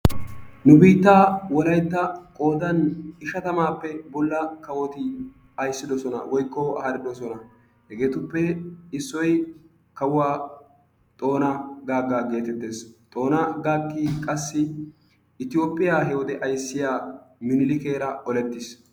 Nu biittaa wolaytta qoodaa ishatamaappe bolla kawoti ayissidosona woykko haaridosona. Hegeetuppe issoy kawuwa xoona gaagga geetettes. Xoona gaaggi qassi toophphiya hewode ayissiya minilikeera olettis.